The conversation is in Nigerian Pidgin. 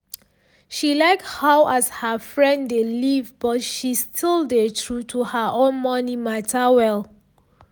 she like how as her friend dey live but she still dey true to her own money matter well